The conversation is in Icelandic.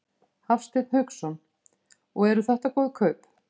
Hafsteinn Hauksson: Og eru þetta góð kaup?